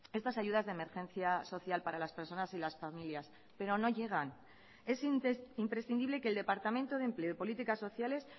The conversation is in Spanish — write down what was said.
estas ayudas de emergencia social para las personas y las familias pero no llegan es imprescindible que el departamento de empleo y políticas sociales